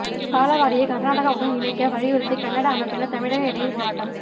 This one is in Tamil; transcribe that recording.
தாளவாடியை கர்நாடகா உடன் இணைக்க வலியுறுத்தி கன்னட அமைப்பினர் தமிழக எல்லையில் போராட்டம்